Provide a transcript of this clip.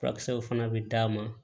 Furakisɛw fana bɛ d'a ma